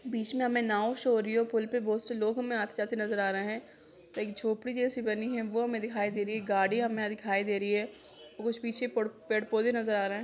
बिच में हमें नाव शो हो रही है पुल पे पे बहुत से लोग हमे आते-जाते नजर आ रहे है एक झोंपड़ी जैसी बनी वह हमे दिखाई दे रही है गाड़ि हमें दिखाई दे रही है उस पीछे पेड़ पोधे नजर आ रहा है।